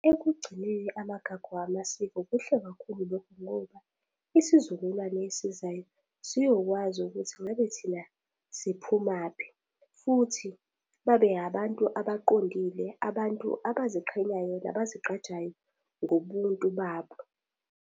Ekugcineni amagagu amasiko kuhle kakhulu lokhu ngoba, isizukulwane esizayo siyokwazi ukuthi ngabe thina siphumaphi. Futhi babe abantu abaqondile, abantu abaziqhenyayo nabazigqajayo ngobuntu babo.